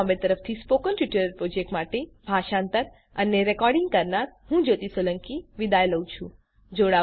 iit Bombay તરફથી spoken tutorial project માટે ભાષાંતર કરનાર હું જ્યોતી સોલંકી વિદાય લઉં છું